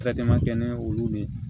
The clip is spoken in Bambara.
kɛ ni olu de ye